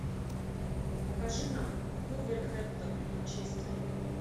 покажи нам вулверхэмптон манчестер